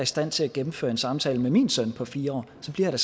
stand til at gennemføre en samtale med min søn på fire år så bliver jeg